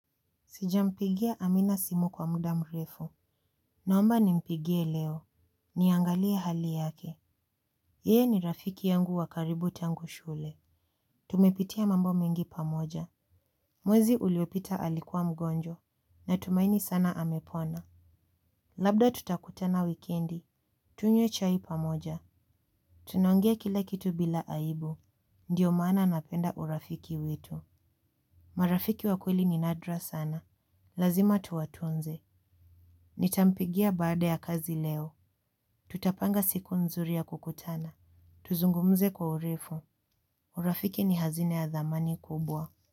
Sijampigia amina simu kwa muda mrefu. Naomba nimpigie leo. Niangalie hali yake. Yeye ni rafiki yangu wa karibu tangu shule. Tumepitia mambo mengi pamoja. Mwezi uliopita alikuwa mgonjwa. Natumaini sana amepona. Labda tutakutana wikendi. Tunywe chai pamoja. Tunaongea kila kitu bila aibu. Ndiyo mana napenda urafiki wetu. Marafiki wa kweli ni nadra sana. Lazima tuwatunze. Nitampigia baada ya kazi leo. Tutapanga siku nzuri ya kukutana. Tuzungumze kwa urefu. Urafiki ni hazina ya dhamani kubwa.